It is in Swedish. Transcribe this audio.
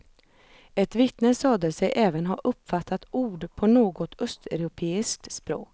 Ett vittne sade sig även ha uppfattat ord på något östeuropeiskt språk.